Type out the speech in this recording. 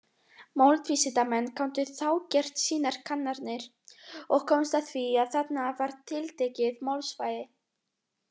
Málvísindamenn gátu þá gert sínar kannanir, og komust að því að þarna var tiltekið málsvæði.